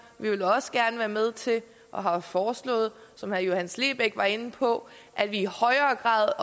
vi vil også gerne være med til og har foreslået som herre johannes lebech var inde på i højere grad